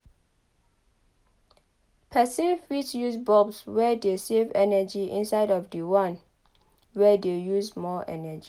Person fit use bulbs wey dey save energy instead of di one wey dey use more energy